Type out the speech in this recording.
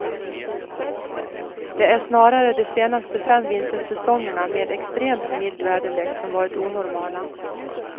Det är snarare de senaste fem vintersäsongerna med extremt mild väderlek som varit onormala.